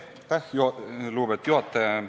Aitäh, lugupeetud juhataja!